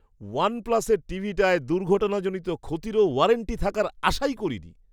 One প্লাসের টিভিটায় দুর্ঘটনাজনিত ক্ষতিরও ওয়ারেন্টি থাকার আশাই করিনি!